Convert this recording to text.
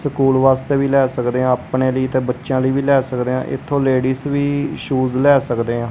School ਵਾਸਤੇ ਵੀ ਲਏ ਸਕਦੇਹਾਂ ਆਪਣੇ ਲਈ ਤੇ ਬੱਚੇਆਂ ਲਈ ਵੀ ਲਏ ਸਕਦੇ ਹਾਂ ਇੱਥੋਂ ਲੇਡੀਜ਼ ਵੀ ਸ਼ੂਜ਼ ਲਏ ਸਕਦੇ ਹਾਂ।